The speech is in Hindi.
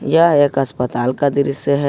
यह एक अस्पताल का दृश्य है।